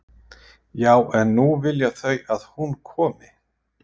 Já en nú vilja þau að hún komi